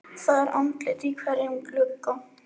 Það er andlit í hverjum glugga.